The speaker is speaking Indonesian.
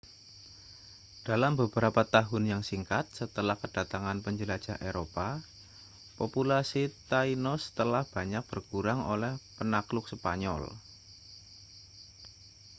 dalam beberapa tahun yang singkat setelah kedatangan penjelajah eropa populasi tainos telah banyak berkurang oleh penakluk spanyol